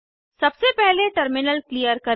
सबसे पहले terminal clear करें